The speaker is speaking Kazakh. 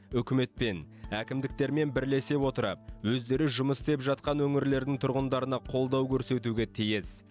үкіметпен әкімдіктермен бірлесе отырып өздері жұмыс істеп жатқан өңірлердің тұрғындарына қолдау көрсетуге тиіс